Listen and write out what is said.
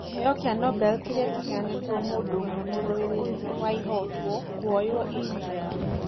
kĩheo kĩa nobel kĩrĩa kĩheanĩtwo mũndũ ũmwe mũrũĩrĩri wa ihooto kwĩywo india